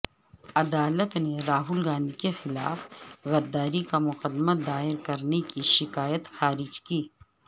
عدالت نے راہل گاندھی کے خلاف غداری کامقدمہ دائر کرنے کی شکایت خارج کی